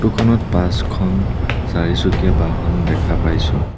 Photo খনত পাঁচখন চাৰিচকীয়া বাহন দেখা পাইছোঁ।